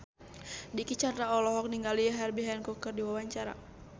Dicky Chandra olohok ningali Herbie Hancock keur diwawancara